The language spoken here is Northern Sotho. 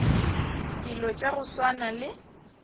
dilo tša go swana le